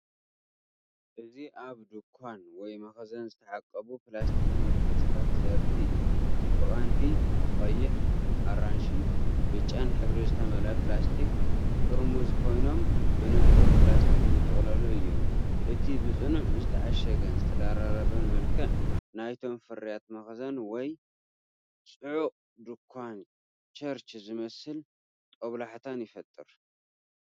እዚ ኣብ ድኳን ወይ መኽዘን ዝተዓቀቡ ፕላስቲክ መትሓዚታት ዘርኢ እዩ። ብቐንዱ ብቀይሕ/ኣራንሺን ብጫን ሕብሪ ዝተመልኡ ፕላስቲክ ጥርሙዝ ኮይኖም ብንጹር ፕላስቲክ ዝተጠቕለሉ እዮም። እቲ ብጽኑዕ ዝተዓሸገን ዝተደራረበን መልክዕ ናይቶም ፍርያት መኽዘን ወይ ጽዑቕ ድኳን ቸርች ዝመስል ጦብላሕታ ይፈጥር።